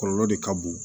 Kɔlɔlɔ de ka bon